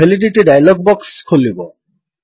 validity dialog box ଖୋଲିବ